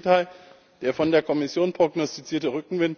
Im Gegenteil Der von der Kommission prognostizierte Rückenwind